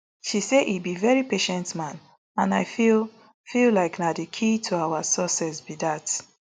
she say e be very patient man and i feel feel like na di key to our success be dat